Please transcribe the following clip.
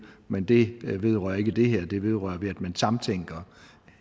men det vedrører ikke det her det vedrører at man sammentænker